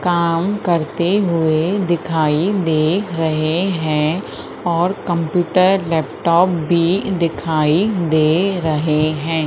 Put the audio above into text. काम करते हुए दिखाई दे रहे हैं और कंप्यूटर लैपटॉप भी दिखाई दे रहे हैं।